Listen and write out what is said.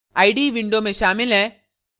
ide window में शामिल हैं